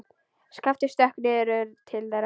Skapti stökk niður til þeirra.